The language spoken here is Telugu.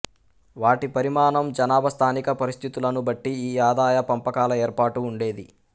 వాటి పరిమాణం జనాభా స్థానిక పరిస్థితులను బట్టి ఈ ఆదాయ పంపకాల ఏర్పాటు ఉండేది